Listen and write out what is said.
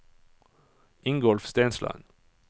Ingolf Steinsland